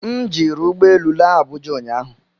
M jiri ụgbọ elu laa Abuja ụnyahụ